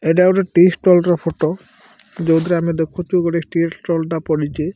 ଏଟା ଗୋଟେ ଟି ଷ୍ଟଲ୍ ର ଫଟୋ ଯୋଉଥିରେ ଆମେ ଦେଖୁଚୁ ଗୋଟେଟି ଷ୍ଟଲ୍ ପଡ଼ିଚି ।